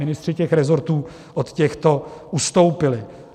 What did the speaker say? Ministři těch resortů od těchto ustoupili.